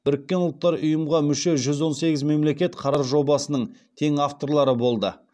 біріккен ұлттар ұйымға мүше жүз он сегіз мемлекет қарар жобасының тең авторлары болды